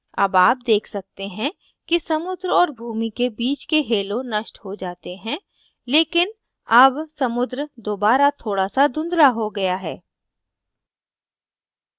अब आप देख सकते हैं कि समुद्र और भूमि के bit के halo नष्ट हो जाते हैं लेकिन अब समुद्र दोबारा थोड़ा now धुंधला हो गया है